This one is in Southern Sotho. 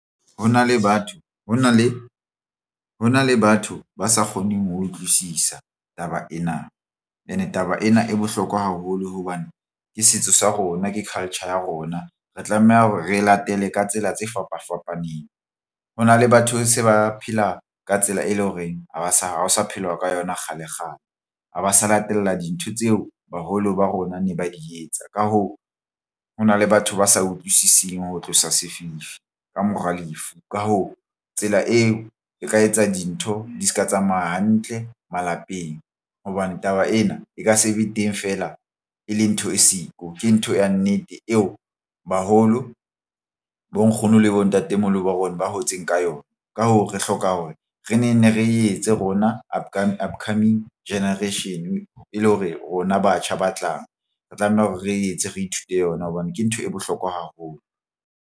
Ho na le batho ba sa kgoneng ho utlwisisa taba ena and taba ena e bohlokwa haholo hobane ke setso sa rona ke culture ya rona. Re tlameha hore re e latele ka tsela tse fapa fapaneng. Ho na le batho se ba phela ka tsela e leng horeng ha ba sa hao sa phelwa ka yona kgalekgale ha ba sa latela dintho tseo baholo ba rona ne ba di etsa. Ka hoo, ho na le batho ba sa utlwisising ho tlosa sefifi ka mora lefu. Ka hoo, tsela eo ke ka etsa dintho di se ka tsamaya hantle malapeng hobane taba ena e ka se be teng feela e le ntho e siko ke ntho ya nnete eo baholo bo nkgono le bontatemoholo ba rona ba hotseng ka yona. Ka hoo, re hloka hore re ne neng re etse rona upcoming generation e le hore rona batjha ba tlang re tlameha hore re etse re ithute yona hobane ke ntho e bohlokwa haholo.